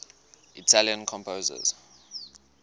italian composers